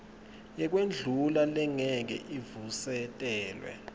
yekwendlula lengeke ivusetelwe